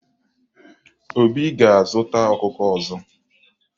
Obi ga-azụta ọkụkọ ọzọ.